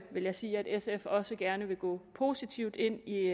vil jeg sige at sf også gerne vil gå positivt ind i